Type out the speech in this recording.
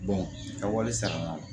ka wari sara